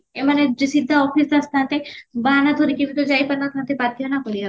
ଏମାନେ ସିଧା office ଆସିଥାନ୍ତେ ବାହାନା ଧରିକି ବି ତ ଯାଇପାରିନଥାନ୍ତେ ନା ବାଧ୍ୟ କରିବା ପାଇଁ